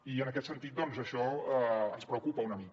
i en aquest sentit doncs això ens preocupa una mica